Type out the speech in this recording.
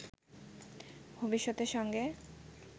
ভবিষ্যতের সঙ্গে